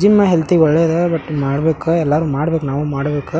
Gym ಹೆಲ್ತಿಗೂ ಒಳ್ಳೆಯದ but ಮಾಡ್ಬೇಕು ಎಲ್ಲರೂ ಮಾಡಬೇಕು ನಾವು ಮಾಡಬೇಕು.